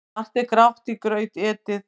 Margt er grátt í graut etið.